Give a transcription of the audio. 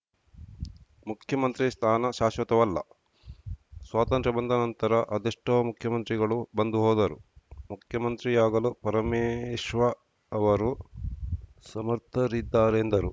ಮುಖ್ಯಮಂತ್ರಿ ಸ್ಥಾನ ಶಾಶ್ವತವಲ್ಲ ಸ್ವಾತಂತ್ರ್ಯ ಬಂದ ನಂತರ ಅದೆಷ್ಟೋ ಮುಖ್ಯಮಂತ್ರಿಗಳು ಬಂದು ಹೋದರು ಮುಖ್ಯಮಂತ್ರಿಯಾಗಲು ಪರಮೇಶ್ವ ಅವರು ಸಮರ್ಥರಿದ್ದಾರೆ ಎಂದರು